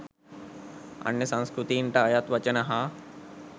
අන්‍ය සංස්කෘතීන්ට අයත් වචන හා